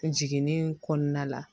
Jiginni kɔnɔna la